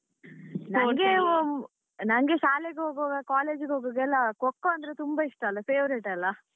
ನನ್ಗೆ ಶಾಲೆಗೆ ಹೋಗ್ವಾಗ college ಹೋಗ್ವಾಗ ಎಲ್ಲ Kho kho ಅಂದ್ರೆ ತುಂಬಾ ಇಷ್ಟ ಅಲ್ಲ favorite ಅಲ್ಲ.